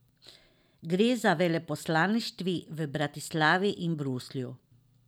Gre za veleposlaništvi v Bratislavi in v Bruslju.